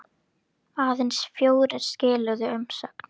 Aðeins fjórir skiluðu umsögn.